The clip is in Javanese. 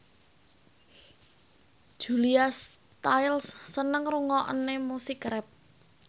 Julia Stiles seneng ngrungokne musik rap